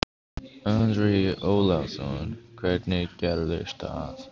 Andri Ólafsson: Hvernig gerðist það?